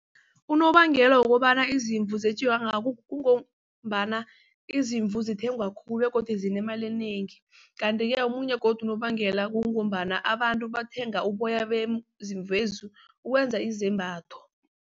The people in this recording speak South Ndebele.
Unobangela wokobana izimvu zetjiwe kangaka kungombana izimvu zithengwa khulu begodu zinemali enengi. Kanti-ke omunye godu unobangela kungombana abantu bathenga uboya bezimvezi ukwenza izembatho.